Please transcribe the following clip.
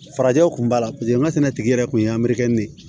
Farajɛw kun b'a la paseke n ka sɛnɛtigi yɛrɛ kun ye an bɛ ne ye